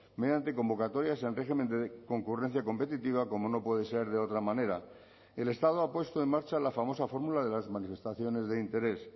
mediante convocatorias en régimen de concurrencia competitiva como no puede ser de otra manera el estado ha puesto en marcha la famosa fórmula de las manifestaciones de interés